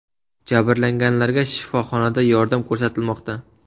Jabrlanganlarga shifoxonada yordam ko‘rsatilmoqda.